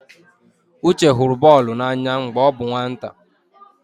Uche hụrụ bọọlụ n'anya mgbe ọ bụ nwata.